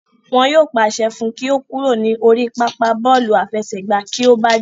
Wọn yóò pàṣẹ fún un kí ó kúrò ní orí pápá bọ́ọ̀lù àfẹsẹ̀gbá kí ó bá jà